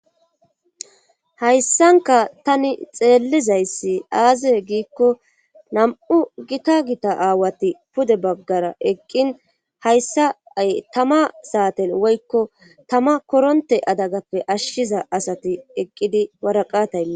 hayssanka tani xeellizayssi aaze giikko nam7u gita gita aawati pude baggara eqqin hayssa ay tama saaten woykko tama koronte adagappe ashshiza asati eqqidi waraqata...